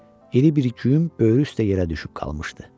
İri bir güym böyrü üstə yerə düşüb qalmışdı.